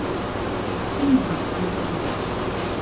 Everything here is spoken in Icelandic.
Síma um árangur.